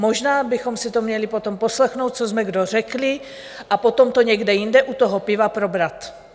Možná bychom si to měli potom poslechnout, co jsme kdo řekli, a potom to někde jinde u toho piva probrat.